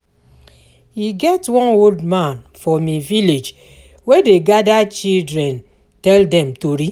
E get one old man for me village wey dey gada children tell dem tori.